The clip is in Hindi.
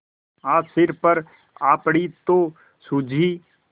आज सिर पर आ पड़ी तो सूझी